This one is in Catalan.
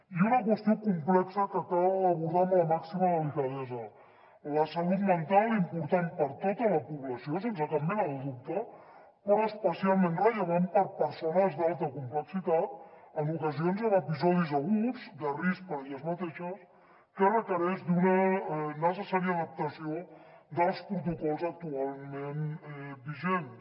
i una qüestió complexa que cal abordar amb la màxima delicadesa la salut mental important per a tota la població sense cap mena de dubte però especialment rellevant per a persones d’alta complexitat en ocasions amb episodis aguts de risc per a elles mateixes que requereix una necessària adaptació dels protocols actualment vigents